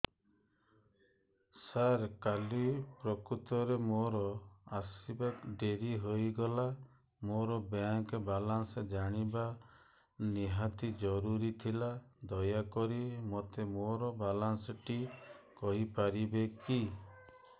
ସାର କାଲି ପ୍ରକୃତରେ ମୋର ଆସିବା ଡେରି ହେଇଗଲା ମୋର ବ୍ୟାଙ୍କ ବାଲାନ୍ସ ଜାଣିବା ନିହାତି ଜରୁରୀ ଥିଲା ଦୟାକରି ମୋତେ ମୋର ବାଲାନ୍ସ ଟି କହିପାରିବେକି